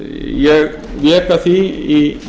ég vék að því í